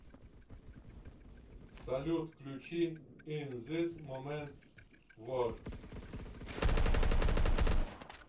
салют включи ин зис момент вор